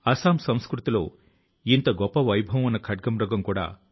దేశమంతటా ఇటువంటి ప్రయత్నాలు అనేకం జరుగుతూ ఉన్నాయి